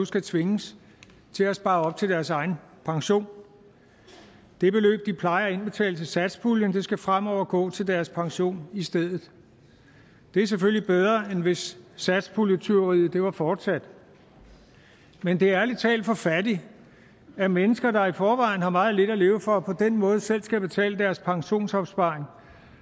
skal tvinges til at spare op til deres egen pension det beløb de plejer at indbetale til satspuljen skal fremover gå til deres pension i stedet det er selvfølgelig bedre end hvis satspuljetyveriet var fortsat men det er ærlig talt for fattigt at mennesker der i forvejen har meget lidt at leve for på den måde selv skal betale deres pensionsopsparing og